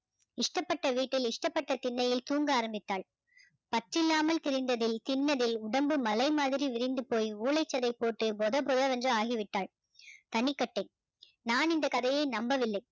இஷ்டப்பட்ட வீட்டில் இஷ்டப்பட்ட திண்ணையில் தூங்க ஆரம்பித்தாள் பற்று இல்லாமல் திரிந்ததில் திண்ணதில் உடம்பு மலை மாதிரி விரிந்து போய் ஊளைச்சதை போட்டு பொத பொதவென்று ஆகிவிட்டாள் தனிக்கட்டை நான் இந்த கதையை நம்பவில்லை